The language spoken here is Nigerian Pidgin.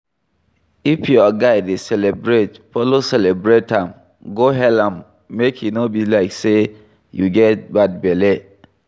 If your guy dey celebrate, follow celebrate am, go hail am make e no be like sey you get bad belle